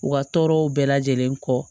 U ka tɔɔrɔw bɛɛ lajɛlen kɔ